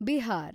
Bihar